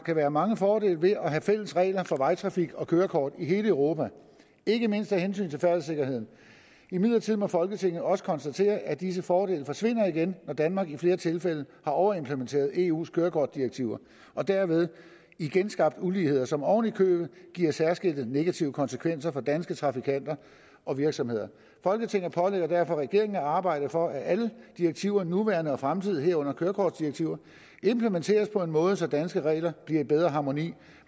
kan være mange fordele ved at have fælles regler for vejtrafik og kørekort i hele europa ikke mindst af hensyn til færdselssikkerheden imidlertid må folketinget også konstatere at disse fordele forsvinder igen når danmark i flere tilfælde har overimplementeret eus kørekortdirektiver og derved igen skabt uligheder som oven i købet giver særskilte negative konsekvenser for danske trafikanter og virksomheder folketinget pålægger derfor regeringen at arbejde for at alle direktiver nuværende og fremtidige herunder kørekortdirektiver implementeres på en måde så at danske regler bliver i bedre harmoni